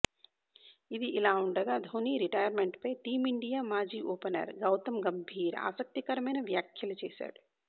ఇది ఇలా ఉండగా ధోని రిటైర్మెంట్పై టీమిండియా మాజీ ఓపెనర్ గౌతమ్ గంభీర్ ఆసక్తికరమైన వ్యాఖ్యలు చేశాడు